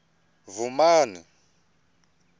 vhumani